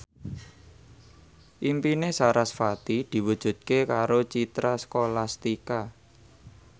impine sarasvati diwujudke karo Citra Scholastika